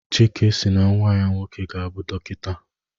Chike si na nnwa ya nwoke ga-abụ dọkịta